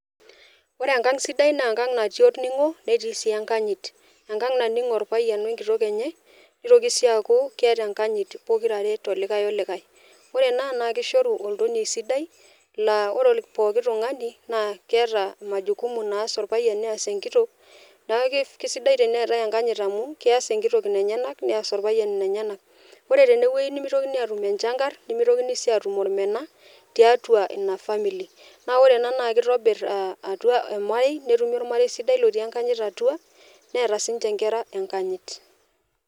Ore enkang sidai naa enkang natii olningo netii si enkanyit , enkang nanningo opayian wenkitok enye nitoki si aaku keeta enkanyit tolikae olikae , ore ena naa kishoru oltonie sidai naa ore poki tungani naa keeta majukumu naas orpayian nias enkitok , niaku kisidai teneeta enkanyit amu kias enkitok inenyenak neas orpayian inenyanak . Ore tenewuei nemitokini atumenchangar nemitokini si atum ormena tiatua ina family , naa ore ena naa kitobir ormarei , netumi ormarei lotii enkanyit atua , neeta sinche nkera enkayit.